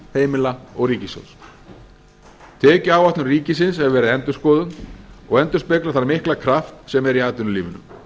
heimila og ríkissjóðs tekjuáætlun ríkisins hefur verið endurskoðuð og endurspeglar þann mikla kraft sem er í atvinnulífinu